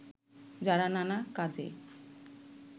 যারা নানা কাজে